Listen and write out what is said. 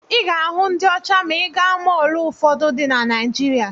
Ị ga-ahụ ndị ọcha ma ị gaa mọọlụ ụfọdụ dị na Naijiria.